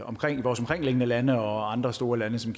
omkringliggende lande og andre store lande som